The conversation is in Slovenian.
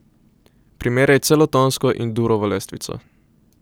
Primerjaj celotonsko in durovo lestvico.